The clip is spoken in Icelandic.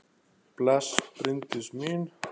Bless, Bryndís mín!